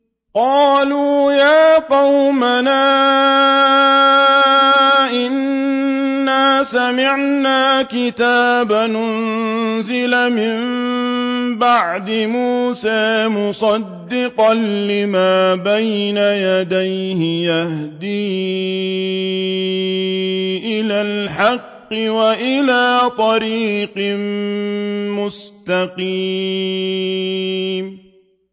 قَالُوا يَا قَوْمَنَا إِنَّا سَمِعْنَا كِتَابًا أُنزِلَ مِن بَعْدِ مُوسَىٰ مُصَدِّقًا لِّمَا بَيْنَ يَدَيْهِ يَهْدِي إِلَى الْحَقِّ وَإِلَىٰ طَرِيقٍ مُّسْتَقِيمٍ